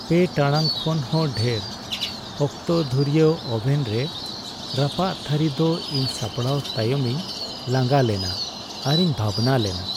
᱓ ᱴᱟᱲᱟᱝ ᱠᱷᱚᱱ ᱦᱚᱸ ᱰᱷᱮᱨ ᱚᱠᱛᱚ ᱫᱷᱩᱨᱭᱟᱹ ᱳᱵᱷᱮᱱ ᱨᱮ ᱨᱟᱯᱟᱜ ᱛᱷᱟᱹᱨᱤ ᱫᱚ ᱤᱧ ᱥᱟᱯᱲᱟᱣ ᱛᱟᱭᱚᱢᱤᱧ ᱞᱟᱸᱜᱟ ᱞᱮᱱᱟ ᱟᱨᱤᱧ ᱵᱷᱟᱵᱽᱱᱟ ᱞᱮᱱᱟ ᱾